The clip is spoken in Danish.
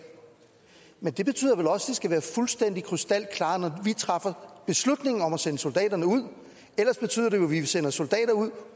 men det betyder vel også at de skal være fuldstændig krystalklare når vi træffer beslutningen om at sende soldaterne ud ellers betyder det jo at vi sender soldater ud